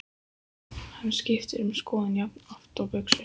Hann skiptir um skoðun jafnoft og buxur.